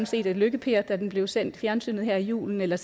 set lykke per da den blev sendt i fjernsynet her i julen eller